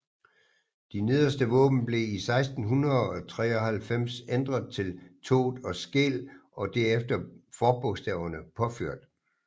De nederste våben blev i 1693 ændret til Thott og Skeel og deres forbogstaver påført